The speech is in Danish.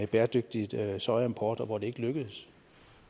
bæredygtig sojaimport og hvor det ikke lykkedes